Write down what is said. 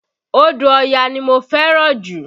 Odò Ọya ní mo fẹ́ràn jù